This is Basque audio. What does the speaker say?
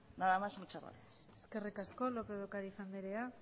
nada más y muchas gracias eskerrik asko lópez de ocariz andrea